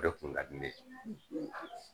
O de kun ka di ne ye.